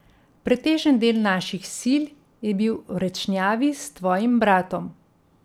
Pretežen del naših sil je bil v Rečnjavi s tvojim bratom.